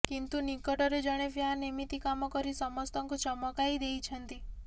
କିନ୍ତୁ ନିକଟରେ ଜଣେ ଫ୍ୟାନ ଏମିତି କାମ କରି ସମସ୍ତଙ୍କୁ ଚମକାଇ ଦେଇଛନ୍ତି